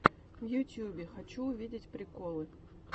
в ютубе хочу увидеть приколы